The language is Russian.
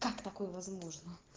как такое возможно